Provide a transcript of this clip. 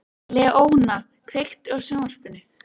Leóna, kveiktu á sjónvarpinu.